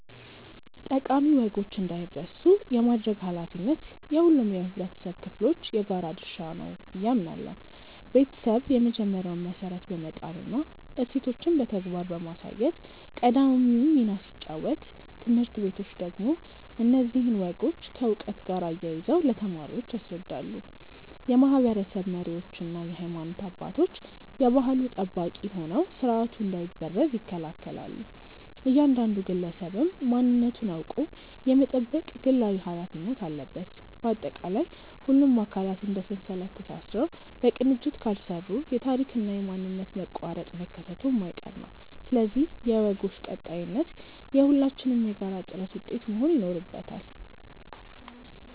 ጠቃሚ ወጎች እንዳይረሱ የማድረግ ኃላፊነት የሁሉም የኅብረተሰብ ክፍሎች የጋራ ድርሻ ነው ብዬ አምናለሁ። ቤተሰብ የመጀመሪያውን መሠረት በመጣልና እሴቶችን በተግባር በማሳየት ቀዳሚውን ሚና ሲጫወት፣ ትምህርት ቤቶች ደግሞ እነዚህን ወጎች ከዕውቀት ጋር አያይዘው ለተማሪዎች ያስረዳሉ። የማኅበረሰብ መሪዎችና የሃይማኖት አባቶች የባሕሉ ጠባቂ ሆነው ሥርዓቱ እንዳይበረዝ ይከላከላሉ፤ እያንዳንዱ ግለሰብም ማንነቱን አውቆ የመጠበቅ ግላዊ ኃላፊነት አለበት። ባጠቃላይ፣ ሁሉም አካላት እንደ ሰንሰለት ተሳስረው በቅንጅት ካልሠሩ የታሪክና የማንነት መቋረጥ መከሰቱ የማይቀር ነው፤ ስለዚህ የወጎች ቀጣይነት የሁላችንም የጋራ ጥረት ውጤት መሆን ይኖርበታል።